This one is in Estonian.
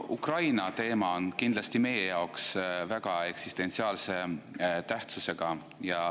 Ukraina teema on kindlasti meie jaoks väga eksistentsiaalse tähtsusega.